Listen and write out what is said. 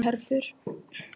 Uppúr einni herför